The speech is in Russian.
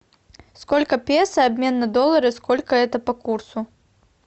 сколько песо обмен на доллары сколько это по курсу